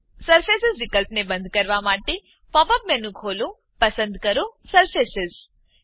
surface વિકલ્પને બંધ કરવા માટે પોપ અપ મેનુ ખોલો પસંદ કરો સરફેસ